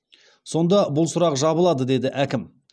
сонда бұл сұрақ жабылады деді әкім